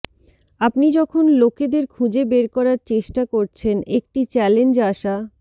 আপনি যখন লোকেদের খুঁজে বের করার চেষ্টা করছেন একটি চ্যালেঞ্জ আশা